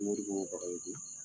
Moribo Bagayoko.